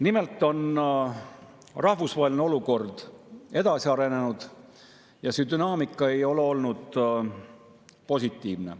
Nimelt on rahvusvaheline olukord edasi arenenud ja see dünaamika ei ole olnud positiivne.